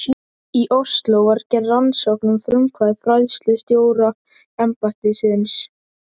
Í Osló var gerð rannsókn að frumkvæði fræðslustjóraembættisins.